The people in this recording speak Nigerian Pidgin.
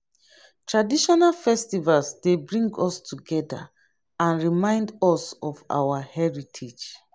traditional festivals dey bring us together and remind us of our heritage.